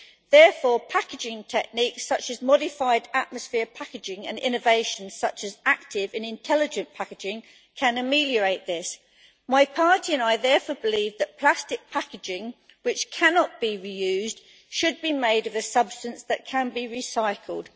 Therefore, packaging techniques such as modified atmosphere packaging and innovations such as active and intelligent packaging can ameliorate this. My party and I therefore believe that plastic packaging which cannot be reused should be made of a substance that can be recycled.